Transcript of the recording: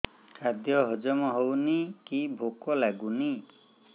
ଖାଦ୍ୟ ହଜମ ହଉନି କି ଭୋକ ଲାଗୁନି